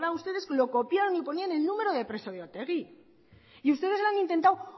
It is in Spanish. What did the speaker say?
ustedes lo copiaron y ponían el número de preso de otegi y ustedes lo han intentado